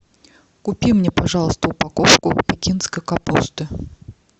купи мне пожалуйста упаковку пекинской капусты